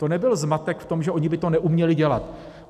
To nebyl zmatek v tom, že oni by to neuměli dělat.